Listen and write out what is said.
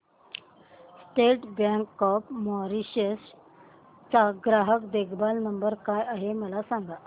state Bank of Mauritius चा ग्राहक देखभाल नंबर काय आहे मला सांगा